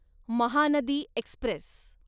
Mahanadi Express